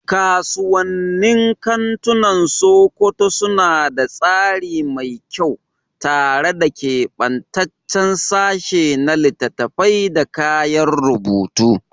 Kasuwannin kantunan Sokoto suna da tsari mai kyau, tare da kebantaccen sashe na littattafai da kayan rubutu.